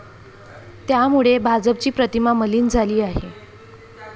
त्यामुळे भाजपची प्रतिमा मलीन झाली आहे.